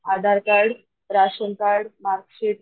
Aadhaar card, ration card, marksheet,